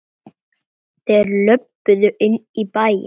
Þeir löbbuðu inn í bæinn.